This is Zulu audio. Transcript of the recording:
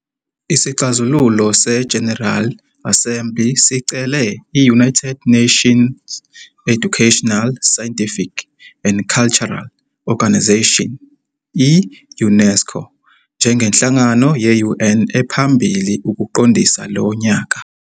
Isixazululo se-General Assembly sicele i-United Nations Educational, Scientific and Cultural Organization, i-UNESCO, njengenhlangano ye-UN ephambili ukuqondisa lo nyaka.